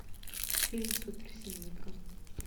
фильм суперсемейка